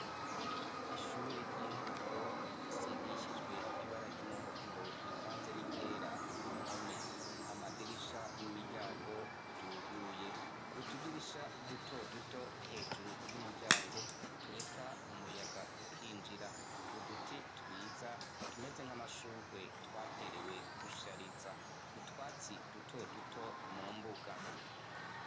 Ishure ry'intango risigishijwe ibara ry'umuhondo rivanzs niryera kumpome, amadirisha nimiryango ryuguruye ,utudirisha dutoduto hejuru yumuryango tureka umuryango ukinjira uduti twiza tumeze nkamashurwe twaterewe gushariza utwatsi duto mumbuga.